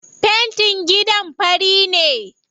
Fentin gidan fari ne.